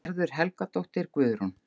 Gerður Helgadóttir, Guðrún